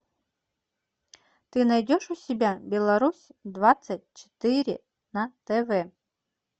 ты найдешь у себя беларусь двадцать четыре на тв